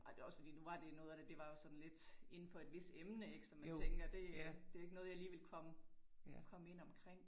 Ej det også fordi nu var det noget af det var også sådan lidt inde for et vist emne, ik, som jeg tænker det det ikke noget jeg lige ville komme komme ind omkring